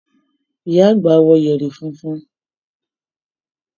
Ìyá àgbà wọ yẹ̀rì funfun.